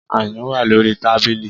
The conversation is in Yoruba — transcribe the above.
Ayùn wà lórí tábìlì